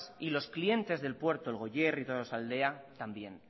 y los clientes del puerto el goierri y tolosaldea también